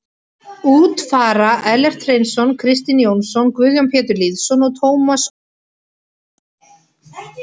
Út fara Ellert Hreinsson, Kristinn Jónsson, Guðjón Pétur Lýðsson og Tómas Ól Garðarsson.